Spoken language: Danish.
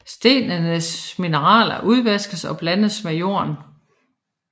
Stenenes mineraler udvaskes og blandes med jorden